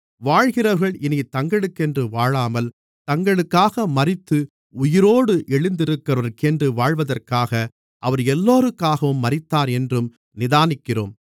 வாழ்கிறவர்கள் இனித் தங்களுக்கென்று வாழாமல் தங்களுக்காக மரித்து உயிரோடு எழுந்தவருக்கென்று வாழ்வதற்காக அவர் எல்லோருக்காகவும் மரித்தார் என்றும் நிதானிக்கிறோம்